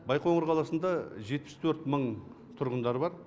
байқоңыр қаласында жетпіс төрт мың тұрғындары бар